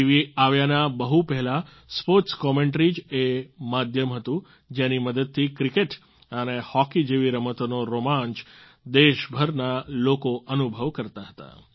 TV આવ્યાના બહુ પહેલાં સ્પોર્ટ્સ કોમેન્ટરી જ એ માધ્યમ હતું જેની મદદથી ક્રિકેટ અને હોકી જેવી રમતોનો રોમાંચ દેશભરના લોકો અનુભવ કરતાં હતાં